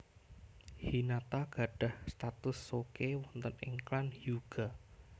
Hinata gadhah status souke wonten ing klan Hyuuga